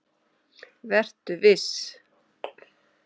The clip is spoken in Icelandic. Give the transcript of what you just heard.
Vertu viss.